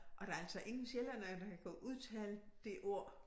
Og der altså ingen sjællændere der kan udtale det ord